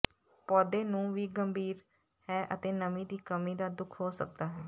ਪੌਦੇ ਨੂੰ ਵੀ ਗੰਭੀਰ ਹੈ ਅਤੇ ਨਮੀ ਦੀ ਕਮੀ ਦਾ ਦੁੱਖ ਹੋ ਸਕਦਾ ਹੈ